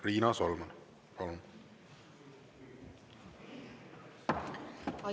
Riina Solman, palun!